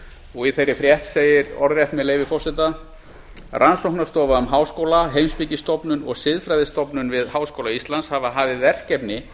og í þeirri frétt segir orðrétt með leyfi forseta rannsóknarstofa um háskóla heimspekistofnun og siðfræðistofnun við hí hafa hafið verkefni